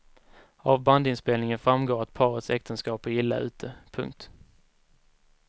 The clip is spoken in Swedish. Av bandinspelningen framgår att parets äktenskap är illa ute. punkt